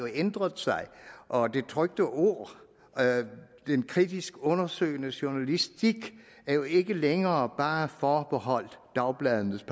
ændret sig og det trykte ord den kritisk undersøgende journalistik er jo ikke længere bare forbeholdt dagbladenes